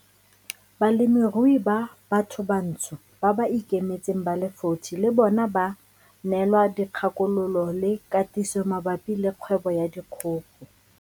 Balemirui ba bathobantsho ba ba ikemetseng ba le 40 le bona ba neelwa dikgakololo le katiso mabapi le kgwebo ya dikgogo.